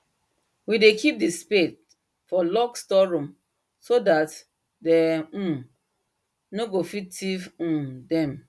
we dey keep the spade for locked store room to that them um nor go fit thief um them